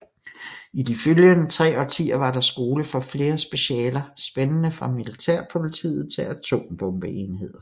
I de følgende tre årtier var der skole for flere specialer spændende fra Militærpolitiet til Atombombeenheder